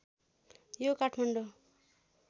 यो काठमाडौँ